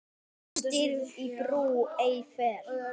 Stirð í brú ei fer.